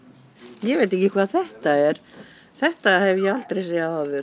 ég veit ekki hvað þetta er þetta hef ég aldrei séð áður